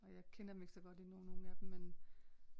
Og jeg kender dem ikke så godt endnu nogen af dem men